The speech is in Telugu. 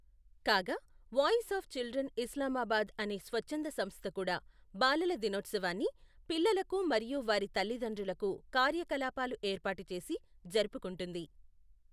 కాగా, వాయిస్ ఆఫ్ చిల్డ్రన్ ఇస్లామాబాద్ అనే స్వచ్ఛంద సంస్థ కూడా బాలల దినోత్సవాన్ని, పిల్లలకు మరియు వారి తల్లి తండ్రులకు కార్యకలాపాలు ఏర్పాటుచేసి జరుపుకుంటుంది.